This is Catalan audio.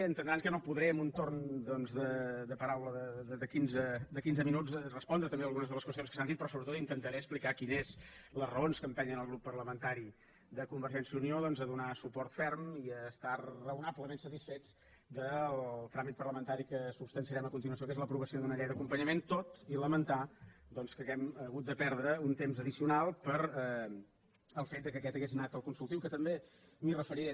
entendran que no podré amb un torn doncs de paraula de quinze minuts respondre també algunes de les qüestions que s’han dit però sobretot intentaré explicar quines són les raons que empenyen el grup parlamentari de convergència i unió a donar suport ferm i a estar raonablement satisfets del tràmit parlamentari que substanciarem a continuació que és l’aprovació d’una llei d’acompanyament tot i lamentar doncs que hàgim hagut de perdre un temps addicional pel fet que aquest hagués anat al consultiu que també m’hi referiré